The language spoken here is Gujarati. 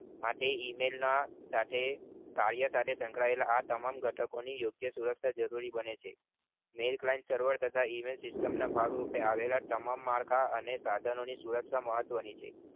માટે email ના સાથે કાયદા કાનુન સંકળાયેલા આ સમાન ઘટકો ની યોગ્ય સુરક્ષા જરૂરી બને છે જેવી client server તથા email system ના ભાગ રૂપે આવેલા તમામ માર્કા સાધનો ની સુરક્ષા મહત્વની છે